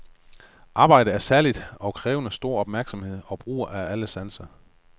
Arbejdet er særligt og kræver stor opmærksomhed og brug af alle sanser.